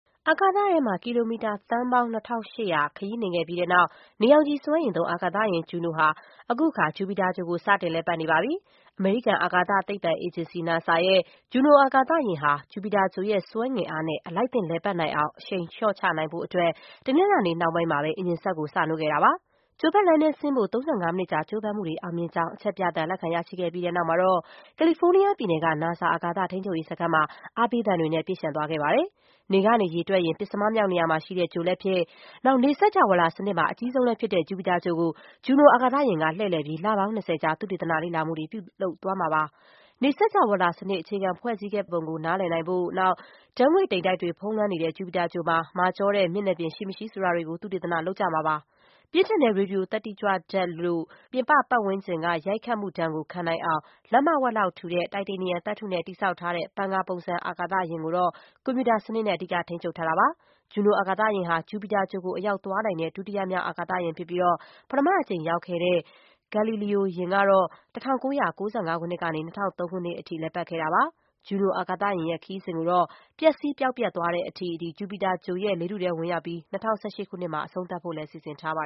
အာကာသထဲမှာ ကီလိုမီတာ သန်းပေါင်း ၂,၈၀၀ ခရီးနှင်ခဲ့ပြီးနောက် နေရောင်ခြည် စွမ်းအင်သုံး အာကာသယာဉ် Juno ဟာ အခုအခါ ဂျုပီတာဂြိုဟ်ကို စတင်လည်ပတ်နေပါပြီ။ အမေရိကန် အာကာသသိပ္ပံ အေဂျင်စီ NASA ရဲ့ Juno အာကာသယာဉ်ဟာ ဂျုပီတာဂြိုဟ်ရဲ့ ဆွဲငင်အားနဲ့ အလိုက်သင့် လှည့်ပတ်နိုင်အောင် အရှိန်လျှော့ချနိုင်ဖို့ တနင်္လာနေ့ နှောင်းပိုင်းမှာပဲ အင်ဂျင်စက်ကို စနှိုးခဲ့ပါတယ်။ ဂြိုဟ်ပတ်လမ်းထဲဆင်းဖို့ ၃၅ မိနစ်ကြာ ကြိုးပမ်းမှုတွေ အောင်မြင်ကြောင်း အချက်ပြသံကို လက်ခံရရှိခဲ့ပြီး နောက်မှာတော့ ကယ်လီဖိုးနီးယား ပြည်နယ်က NASA အာကာသ ထိန်းချုပ်ရေးစခန်းမှာ အားပေးသံတွေနဲ့ ပြည့်လျှံသွားခဲ့ပါတယ်။ နေကနေ ရေတွက်ရင် ပဉ္စမမြောက်နေရာမှာရှိတဲ့ ဂြိုဟ်လည်းဖြစ်၊ နေစကြဝဠာစနစ်မှာ အကြီးဆုံးလည်းဖြစ်တဲ့ ဂျုပီတာဂြိုဟ်ကို Juno အာကာသယာဉ်က လှည့်လည်ပြီး လပေါင်း ၂၀ ကြာ သုတေသန လေ့လာမှုတွေ ပြုလုပ်သွားမှာပါ။ နေစကြဝဠာစနစ် အခြေခံဖွဲ့စည်းခဲ့ပုံကို နားလည်နိုင်ဖို့၊ ဓာတ်ငွေ့တိမ်တိုက်တွေ ဖုံးလွှမ်းနေတဲ့ ဂျုပီတာဂြိုဟ်မှာ မာကျောတဲ့ မျက်နှာပြင်ရှိမရှိ ဆိုတာတွေကို သုတေသန လုပ်ကြမှာ ဖြစ်ပါတယ်။ ပြင်းထန်တဲ့ ရေဒီယိုသတ္တိကြွဓာတ်လို့ ပြင်ပပတ်ဝန်းကျင်က ရိုက်ခတ်မှုဒဏ်ကို ခံနိုင်အောင် လက္မဝက်လောက်ထူတဲ့ တိုက်တေနီယံသတ္ထုနဲ့ တည်ဆောက်ထားတဲ့ ပန်ကာပုံစံ အာကာသယာဉ်ကိုတော့ ကွန်ပြူတာစနစ်နဲ့ အဓိကထိန်းချုပ်ထားတာပါ။ Juno အာကာသယာဉ်ဟာ ဂျုပီတာဂြိုဟ်ကို အရောက်သွားနိုင်တဲ့ ဒုတိယမြောက် အာကာသယာဉ်ဖြစ်ပြီး၊ ပထမအကြိမ် ရောက်ခဲ့တဲ့ Galileo ယာဉ်ကတော့ ၁၉၉၅ ခုနှစ်ကနေ ၂၀၀၃ ခုနှစ်အထိ လှည့်ပတ်ခဲ့တာပါ။ Juno အာကာသယာဉ်ရဲ့ ခရီးစဉ်ကိုတော့၊ ပျက်စီးပျောက်ပျက်သွားတဲ့အထိဂျုပီတာဂြိုဟ်ရဲ့ လေထုထဲ ဝင်ရောက်ပြီး၊ ၂၀၁၈ ခုနှစ်မှာ အဆုံးသတ်ဖို့လည်း စီစဉ်ထားပါ